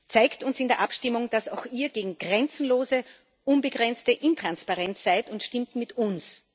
Zeigt uns in der Abstimmung, dass auch Ihr gegen grenzenlose, unbegrenzte Intransparenz seid, und stimmt mit uns!